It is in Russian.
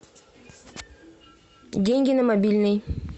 деньги на мобильный